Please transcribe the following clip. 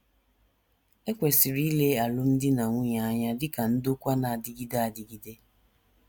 E kwesịrị ile alụmdi na nwunye anya dị ka ndokwa na - adịgide adịgide